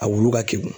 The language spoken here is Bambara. A wolo ka kin